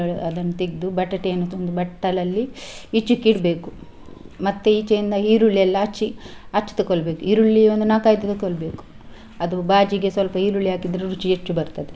ಅದನ್ನು ತೆಗ್ದು ಬಟಾಟೆ ಯನ್ನು ಒಂದು ಬಟ್ಟಲಲ್ಲಿ ಈಚೆಗೆ ಇಡ್ಬೇಕು. ಮತ್ತೆ ಈಚೆಯಿಂದ ಈರುಳ್ಳಿ ಎಲ್ಲ ಹಚ್ಚಿ ಆಚೆ ತಕೊಳ್ಬೇಕು. ಈರುಳ್ಳಿ ಒಂದು ನಾಲ್ಕು ಐದು ತಕೊಳ್ಬೇಕು ಅದು बाजी ಗೆ ಸ್ವಲ್ಪ ಈರುಳ್ಳಿ ಹಾಕಿದ್ರೆ ರುಚಿ ಹೆಚ್ಚು ಬರ್ತದೆ.